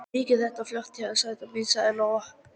Mikið er þetta flott hjá þér, sæta mín, sagði Lóa.